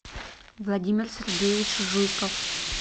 владимир сергеевич жуйков